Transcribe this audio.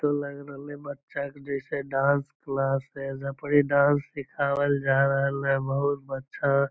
इ ते लाग रहले बच्चा के जैसे डांस क्लास है एजा पर डांस सिखवाल जा रहल हई बहुत बच्चा --